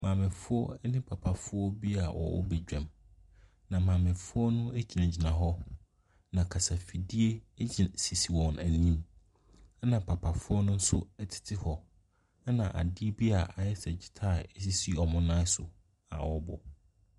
Maamefoɔ ne papafoɔ bi a wɔwɔ badwam, na maamefoɔ no gyinagyina hɔ, na kasafidie si sisi wɔn anim, ɛnna papafoɔ no nso tete hɔ, ɛnna ade bi a ayɛ sɛ guitar sisi wɔn nan so a wɔrebɔ.